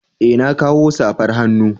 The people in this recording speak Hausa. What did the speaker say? Eh na kawo safar hannu.